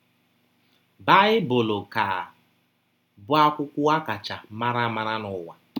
Baịbụl ka bụ akwụkwọ a kacha mara amara n’ụwa.